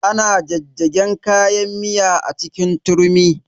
Ana jajjagen kayan miya a cikin turmi.